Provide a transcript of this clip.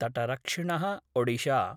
तटरक्षिण: Odisha